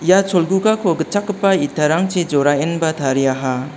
ia cholgugako gitchakgipa itarangchi joraenba tariaha.